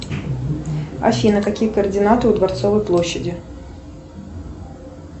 афина какие координаты у дворцовой площади